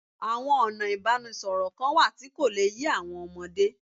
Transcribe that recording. Àwọn ọ̀nà ìbánisọ̀rọ̀ kan wà tí kò le yé àwọn ọmọdé